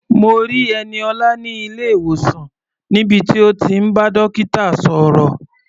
Mo rí Ẹniọlá ní ilé-ìwòsàn níbi tí ó ti ń bá dókítà sọ̀rọ̀.